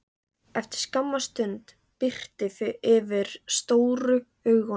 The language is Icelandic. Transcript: Eftir skamma stund birti yfir stóru augunum.